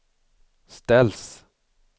ställs